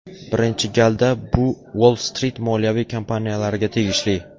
Birinchi galda bu Uoll-Strit moliyaviy kompaniyalariga tegishli.